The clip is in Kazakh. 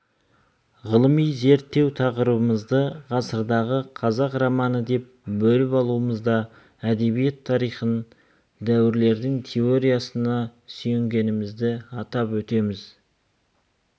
ғылыми зерттеу тақырыбымызды ғасырдағы қазақ романы деп бөліп алуымызда әдебиет тарихын дәуірлеудің теориясына сүйенгенімізді атап өтеміз